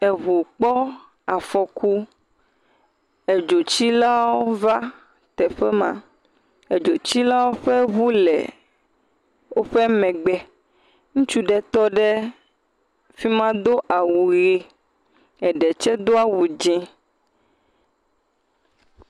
Eŋu kpɔ afɔku, edzotsiawo va teƒe ma, edzotsilawo ƒe ŋu le woƒe megbe. Ŋutsu ɖe tɔ ɖe fi ma do awu ʋe, eɖe tsɛ do awu dzee.